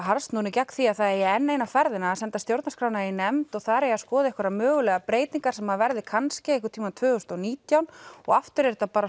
harðsnúnir gegn því að það eigi enn eina ferðina að senda stjórnarskrána í nefnd og þar eigi að skoða einhverjar mögulegar breytingar sem verða kannski einhvern tímann tvö þúsund og nítján og aftur er þetta bara